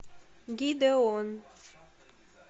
гидеон